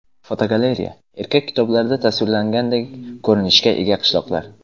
Fotogalereya: Ertak kitoblarida tasvirlangandek ko‘rinishga ega qishloqlar.